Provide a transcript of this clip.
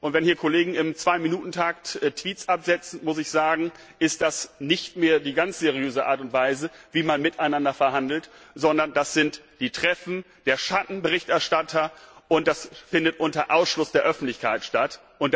Wenn hier Kollegen im Zwei Minuten Takt Tweets absetzen, ist das nicht mehr die ganz seriöse Art und Weise, wie man miteinander verhandelt, sondern das sind die Treffen der Schattenberichterstatter und das findet unter Ausschluss der Öffentlichkeit statt.